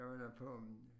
Der var jeg på